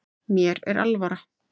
Mér er alvara